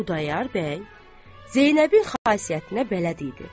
Xudayar bəy Zeynəbin xasiyyətinə bələd idi.